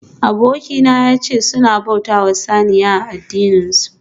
Abokina yace suna bautawa saniya a addininsu